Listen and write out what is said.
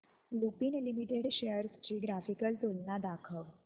Lupin limited shares ची graphical तुलना दाखव